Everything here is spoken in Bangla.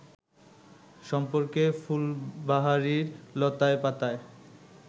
সম্পর্কে ফুলবাহারির লতায় পাতায়